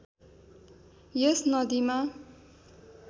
यस नदीमा